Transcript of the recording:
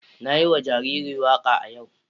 Na yi wa jariri waka a yau.